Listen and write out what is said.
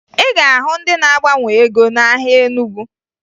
Ị ga-ahụ ndị na-agbanwe ego n'ahịa Enugu